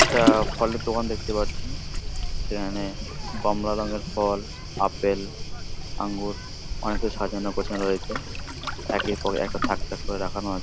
একটা ফলের দোকান দেখতে পারছি সেইখানে কমলা রং-এর ফল আপেল আঙ্গুর অনেক সাজানো গোছানো রয়েছে একের পর এক থাক থাক করে রাখানো আ--